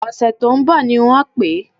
Ọ̀sẹ̀ tó ń bọ̀ ni wọ́n pè é